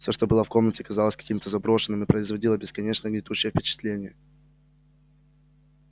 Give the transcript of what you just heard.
всё что было в комнате казалось каким-то заброшенным и производило бесконечно гнетущее впечатление